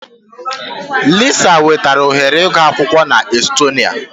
Lisa nwetara ohere ịgụ akwụkwọ na Estonia.